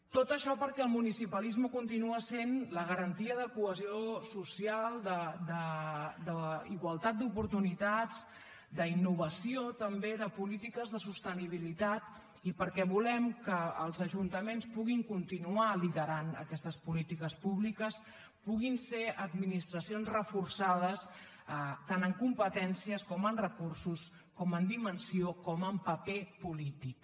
tot això perquè el municipalisme continua sent la garantia de cohesió social d’igualtat d’oportunitats d’innovació també de polítiques de sostenibilitat i perquè volem que els ajuntaments puguin continuar liderant aquestes polítiques públiques puguin ser administracions reforçades tant en competències com en recursos com en dimensió com en paper polític